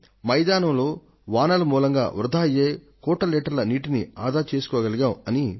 మేం మైదానం మీద పడే వాన మూలంగా వృథా అయ్యే కోట్ల లీటర్ల నీటిని ఆదా చేయగలిగాం